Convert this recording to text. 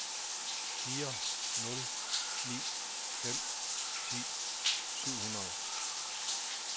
fire nul ni fem ti syv hundrede